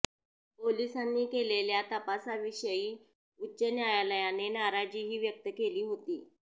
पोलिसांनी केलेल्या तपासाविषयी उच्च न्यायालयाने नाराजीही व्यक्त केली होती